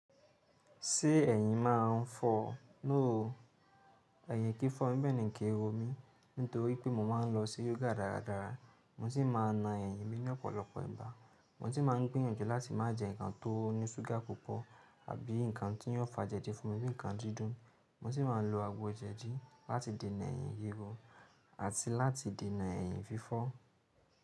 Ṣé ẹ̀yin máa ń fọ́o? No o. Ẹ̀yìn kìí fọ́ mí bẹ́ẹ̀ ní kii ro mí, nítorí pé mo máa ń lọ sí yoga dáradára, mo sì máa na ẹyìn mi ní ọ̀pọ̀lọpọ̀ ìgbà, mo sì máa ń gbìyànjú láti má jẹ́ ǹkan tó ní ṣúgà púpọ̀ àbí ǹkan tí yóò fà jẹdi fún mi bí ǹkan dídùn, mo sì máa ń lo àgbo jẹ̀dí láti dènà ẹ̀yìn rirp àti láti dènà ẹ̀yìn fífọ́.